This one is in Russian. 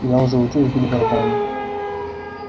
я уже учусь бить в барабаны